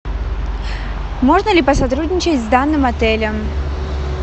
можно ли посотрудничать с данным отелем